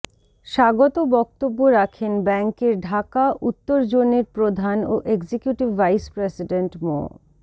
স্বাগত বক্তব্য রাখেন ব্যাংকের ঢাকা উত্তর জোনের প্রধান ও এক্সিকিউটিভ ভাইস প্রেসিডেন্ট মো